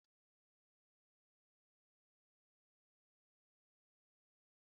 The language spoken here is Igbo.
Indomie chicken bụ akara nụdles na-ewu ewu na Naịjirịa